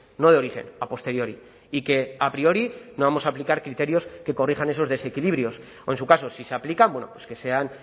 no de origen a posteriori y que a priori no vamos a aplicar criterios que corrijan esos desequilibrios o en su caso si se aplican bueno pues que sean